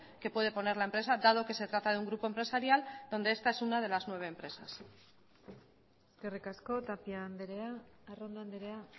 que puede poner la empresa dado que se trata de un grupo empresarial donde esta es una de las nueve empresas eskerrik asko tapia andrea arrondo andrea